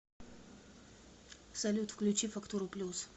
салют включи фактуру плюс